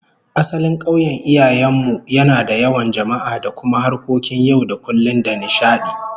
Asalin kauyen iyayen mu yana da yawan jama'a da kuma harkokin yau da kullum da nishadi